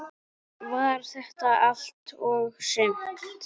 Var þetta allt og sumt?